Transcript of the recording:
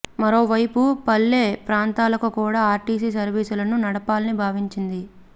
మరో వైపు పల్లె ప్రాంతాలకు కూడా ఆర్టీసీ సర్వీసులను నడపాలని భావించింది